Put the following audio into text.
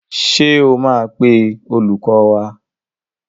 Ṣé o máa pe olùkọ́ wá?